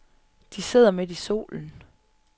De sidder midt i solen.